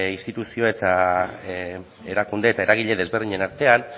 instituzio eta erakunde eta eragile desberdinen artean